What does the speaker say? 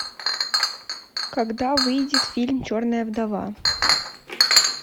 когда выйдет фильм черная вдова